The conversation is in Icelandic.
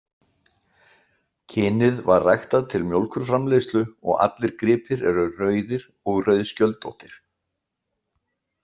Kynið var ræktað til mjólkurframleiðslu og allir gripir eru rauðir og rauðskjöldóttir.